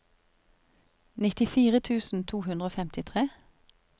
nittifire tusen to hundre og femtitre